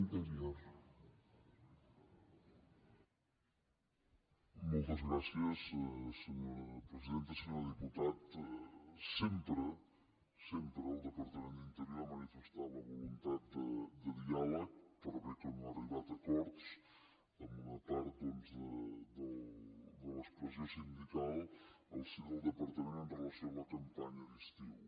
senyor diputat sempre sempre el departament d’interior ha manifestat la voluntat de diàleg per bé que no ha arribat a acords amb una part doncs de l’expressió sindical en el si del departament amb relació a la campanya d’estiu